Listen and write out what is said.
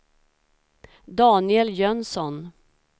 Daniel Jönsson